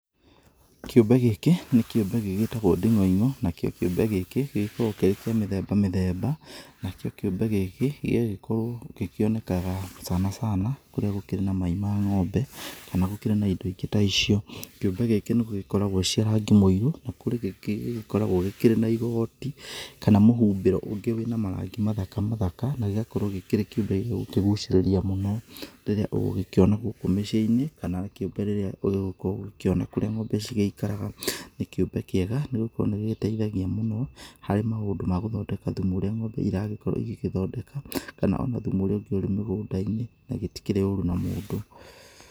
Kĩũmbe gĩkĩ nĩ kĩũmbe gĩgĩtagwo nding'oing'o. Nakĩo kĩũmbe gĩkĩ gĩgĩkoragwo kĩrĩ kĩa mĩthemba mĩthemba. Nakĩo kĩũmbe gĩkĩ gĩgagĩkorwo gĩkĩonekaga sana sana kũrĩa gũkĩrĩ na mai ma ngombe, kana gũkĩrĩ na indo ingĩ ta icio. Kĩũmbe gĩkĩ nĩ gũgĩkoragwo cia rangi mũirũ, na kũrĩ kĩngĩ gĩgĩkoragwo gĩkĩrĩ na igoti, kana mũhumbĩro ũngĩ wĩna marangi mathaka mathaka, na gĩgakorwo gĩkĩrĩ kĩũmbe gĩ gũkĩgũcirĩria mũno, rĩrĩa ũgũgĩkĩona gũkũ mĩciĩ-inĩ, kana rĩrĩa ũgũgĩkorwo ũgĩkĩona kũrĩa ngombe ci gĩikaraga. Nĩ kĩũmbe kĩega nĩ gũkorwo nĩ gĩgĩteithagia mũno, harĩ maũndũ ma gũthondeka thumu ũrĩa ngombe iragĩkorwo igĩgĩthondeka, kana ona thumu ũrĩa ũngi ũrĩ mĩgũnda-inĩ, na gĩtĩkĩrĩ ũru na mũndũ.